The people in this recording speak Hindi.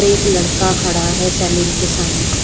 एक लड़का खड़ा है सैलून के सामने।